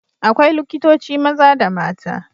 Akwai likitoci maza da mata.